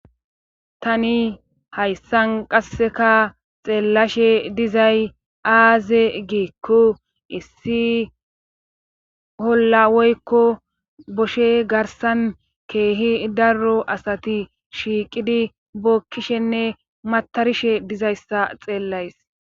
tani hayssan qasseka xeellashe dizay aaze giikko issi holla woykko boshe garsan keehi darro asati shiiqidi bokkishenne matarishe dizayssa xeellays